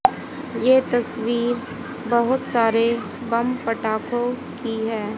ये तस्वीर बहोत सारे बम पटाखों की है।